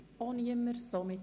– Das ist nicht der Fall.